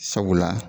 Sabula